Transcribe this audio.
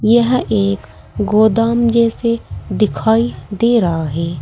यह एक गोदाम जैसे दिखाई दे रहा है।